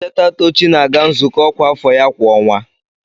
Nleta Tochi na-aga nzukọ ọkwa afọ ya kwa ọnwa.